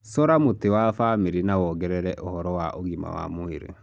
Cora mũtĩ wa famĩlĩ na wongerere ũhoro wa ũgima wa mwĩrĩ.